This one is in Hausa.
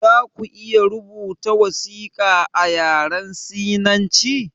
Zaku iya rubuta wasiƙa a yaren sinanci?